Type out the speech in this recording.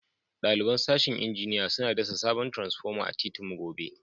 Dalibain sashen injiniya suna kasa sabon transpoma a'titin mu gobe.